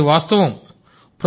అది వాస్తవం సార్